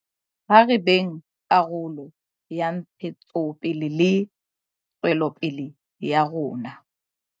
Ha re beng karolo ya ntshetsopele le tswelopele ya rona.